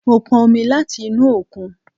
Mo pọn omi láti inú òkun